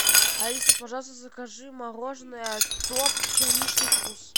алиса пожалуйста закажи мороженое топ черничный вкус